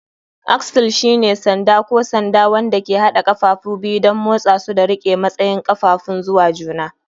Axle shine sanda ko sanda wanda ke haɗa ƙafafu biyu don motsa su da riƙe matsayin ƙafafun zuwa juna.